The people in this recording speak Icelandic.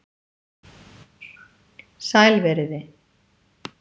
sæl verið þið